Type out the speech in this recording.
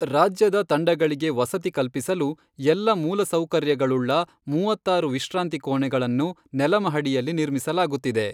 ರಾಜ್ಯದ ತಂಡಗಳಿಗೆ ವಸತಿ ಕಲ್ಪಿಸಲು ಎಲ್ಲ ಮೂಲ ಸೌಕರ್ಯಗಳುಳ್ಳ ಮೂವತ್ತಾರು ವಿಶ್ರಾಂತಿ ಕೋಣೆಗಳನ್ನು ನೆಲ ಮಹಡಿಯಲ್ಲಿ ನಿರ್ಮಿಸಲಾಗುತ್ತಿದೆ.